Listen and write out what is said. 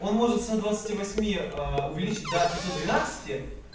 он может со ста двадцати восьми увеличить до пятьсот двенадцати